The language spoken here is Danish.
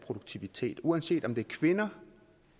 produktivitet uanset om det er kvinder